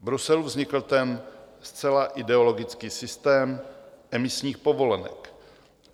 V Bruselu vznikl ten zcela ideologický systém emisních povolenek.